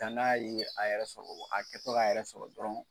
Danga ye a yɛrɛ sɔrɔ a kɛtɔ k'a yɛrɛ sɔrɔ dɔrɔn